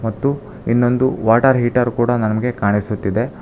ಮತ್ತು ಇನ್ನೊಂದು water heater ಕೂಡ ನನಗೆ ಕಾಣಿಸ್ತಾ ಇದೆ.